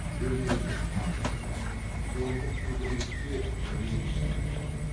өмірге тағдырға зорлық құдіретке ренішін айтқан